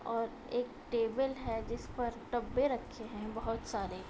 और एक टेबल है जिस पर डब्बे रखे हैं बोहत सारे |